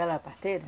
Ela era parteira?